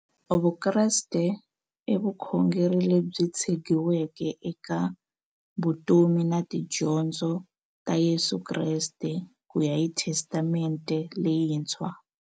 Vukreste i vukhongeri lebyi tshegiweke eka vutomi na tidyondzo ta Yesu Kreste kuya hi Testamente leyintshwa.